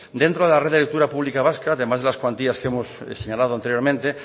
dentro de la red de lectura pública vasca además de las cuantías que hemos señalado anteriormente